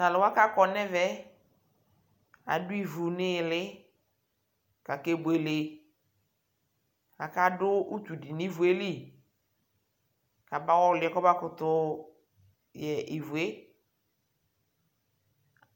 Talʊwa kakɔ ɲɛvɛ adʊivʊ ɲɩlɩ kakebuele akadʊ utu dɩ ɲivʊeli kaba wɔlie kɔbakʊtʊ yɛ ivʊe